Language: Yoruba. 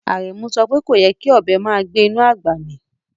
Aremu sope koyè́ kí ọbẹ màá gbẹ̀ inú agbá mí